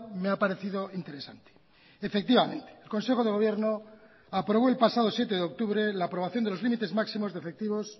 me ha parecido interesante efectivamente el consejo de gobierno aprobó el pasado siete de octubre la aprobación de los límites máximos de efectivos